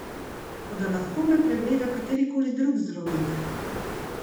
Toda lahko me pregleda katerikoli drug zdravnik.